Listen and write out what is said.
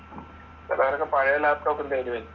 ചിലവരൊക്കെ പഴയെ ലാപ്ടോപ്പും തേടി വരും